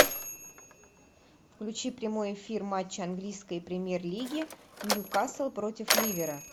включи прямой эфир матча английской премьер лиги ньюкасл против ливера